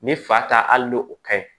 Ni fa ta hali ni o ka ɲi